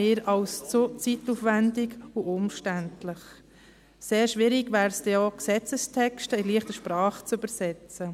Sehr schwierig wäre es denn auch, Gesetzestexte in «leichte Sprache» zu übersetzen.